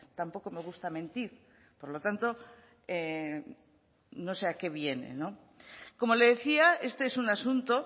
tampoco me gusta mentir por lo tanto no sé a qué viene como le decía este es un asunto